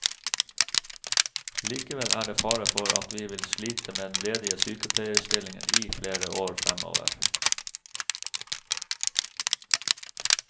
Likevel er det fare for at vi vil slite med ledige sykepleierstillinger i flere år fremover.